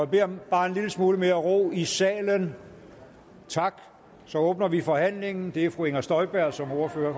bede om bare en lille smule mere ro i salen tak så åbner vi forhandlingen det er fru inger støjberg som ordfører